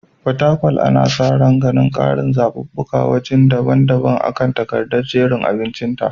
Fatakwal ana sa ran ganin ƙarin zaɓuɓɓukan waje daban-daban akan takadar jerin abincinta.